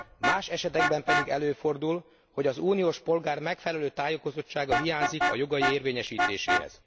Más esetekben pedig előfordul, hogy az uniós polgár megfelelő tájékozottsága hiányzik jogai érvényesítéséhez.